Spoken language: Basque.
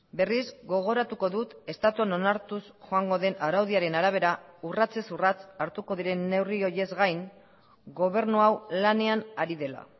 berriz gogoratuko dut estatuan onartuz joango den araudiaren arabera urratsez urrats hartuko diren neurri horiez gain gobernu hau lanean ari dela